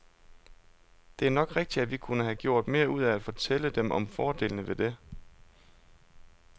Det er nok rigtigt, at vi kunne have gjort mere ud af at fortælle dem om fordelene ved det.